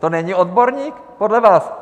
To není odborník, podle vás?